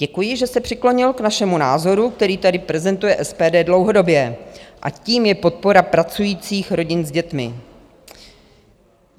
Děkuji, že se přiklonil k vašemu názoru, který tady prezentuje SPD dlouhodobě, a tím je podpora pracujících rodin s dětmi.